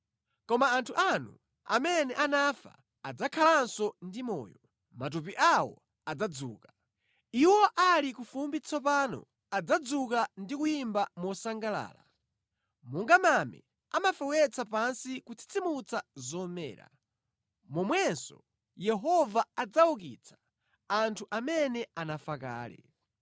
Koma anthu anu amene anafa adzakhalanso ndi moyo; matupi awo adzadzuka. Iwo amene ali ku fumbi tsopano adzadzuka ndi kuyimba mosangalala. Monga mame amafewetsa pansi kutsitsimutsa zomera, momwenso Yehova adzaukitsa anthu amene anafa kale.